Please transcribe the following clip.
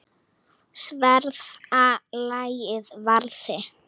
Sverða lagið varði.